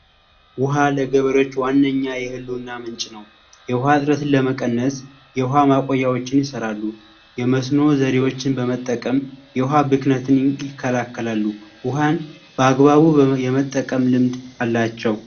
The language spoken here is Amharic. ውሃ ለገበሬዎች ዋነኛ የህልውና ምንጭ ነው ለመቀነስ የውሃ ማቆያዎችን ይሰራሉ የመስኖ ዘዴዎችን በመጠቀም የውሃ ብክለትን ይከላከላሉ ውሃን በአግባቡ የመጠቀም ልምድ አላቸው